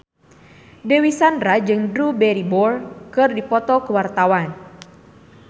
Dewi Sandra jeung Drew Barrymore keur dipoto ku wartawan